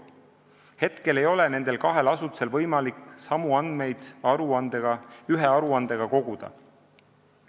Hetkel ei ole nendel kahel asutusel võimalik samu andmeid ühe aruandega koguda.